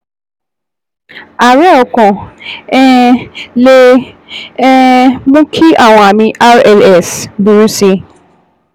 Àárẹ̀ ọkàn um lè um mú kí àwọn àmì RLS burú sí i